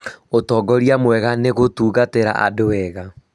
ũtongoria mwega nĩ ũgũtungatĩra andũ wega